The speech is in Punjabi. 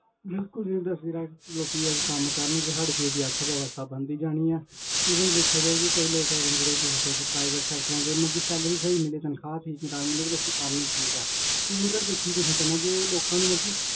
ਬਿਲਕੁਲ business ਜਿਹੜਾ ਲੋਕੀ ਜਦ ਕੰਮ ਕਰਨਗੇ ਸਾਡੇ ਦੇਸ ਦੀ ਅਰਥਵਿਵਸਥਾ ਬਣਦੀ ਜਾਣੀ ਹੈ even ਵੇਖਿਆ ਜਾਏ ਕਿ ਕਈ ਲੋਕ ਹੈਗੇ ਨੇ ਜਿਹੜੇ ਤੁਸੀਂ ਦੱਸਿਆ ਕਿ private sectors 'ਚ ਮਤਲਬ ਕਿ salary ਸਹੀ ਮਿਲੇ ਤਨਖ਼ਾਹ ਸਹੀ time ਮਿਲੇ ਤੇ ਲੋਕੀ ਕਰਨ ਠੀਕ ਹੈ even ਵੀ ਲੋਕਾਂ ਨੂੰ ਮਤਲਬ ਕਿ